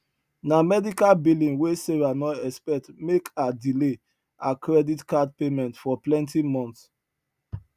na medical billing wey sarah no expect make her delay her credit card payment for plenty months